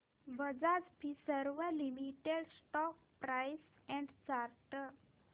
Bajaj Finserv limited stock price and chart